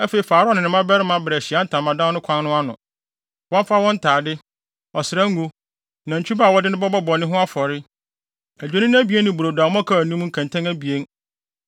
“Afei fa Aaron ne ne mmabarima bra Ahyiae Ntamadan no kwan no ano. Wɔmfa wɔn ntade, ɔsra ngo, nantwi ba a wɔde no bɛbɔ bɔne ho afɔre, adwennini abien ne brodo a mmɔkaw nni mu nkɛntɛn abien